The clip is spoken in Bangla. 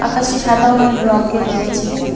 কাঁচটি সাদা ও নীল রঙ্গের রয়েছে।